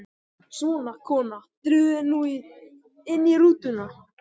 Svona, kona, drífðu þig nú inn í rútuna